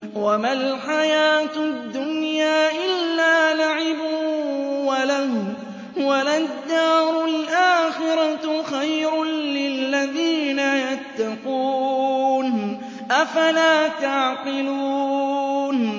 وَمَا الْحَيَاةُ الدُّنْيَا إِلَّا لَعِبٌ وَلَهْوٌ ۖ وَلَلدَّارُ الْآخِرَةُ خَيْرٌ لِّلَّذِينَ يَتَّقُونَ ۗ أَفَلَا تَعْقِلُونَ